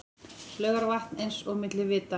Laugarvatn eins og milli vita.